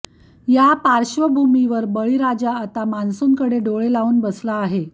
या पार्श्वभूमीवर बळीराजा आता मॉन्सूनकडे डोळे लावून बसला आहे